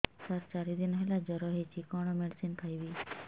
ସାର ଚାରି ଦିନ ହେଲା ଜ୍ଵର ହେଇଚି କଣ ମେଡିସିନ ଖାଇବି